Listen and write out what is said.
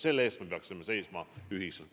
Selle eest me peaksime seisma ühiselt.